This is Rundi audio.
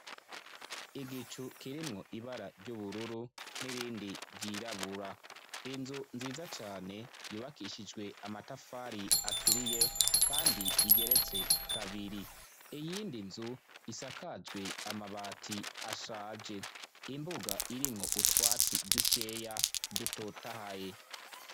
Igicu kirimwo ibara ry'ubururu n'irindi ryirabura. Inzu nziza cane yubakishijwe amatafari aturiye kandi igeretse kabiri. Iyindi nzu isakajwe amabati ashaje. Imbuga irimwo utwatsi dukeya dutotahaye.